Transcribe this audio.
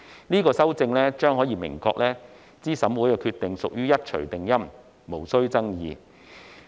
這項修正案可明確資審會的決定屬於一錘定音，無須爭議。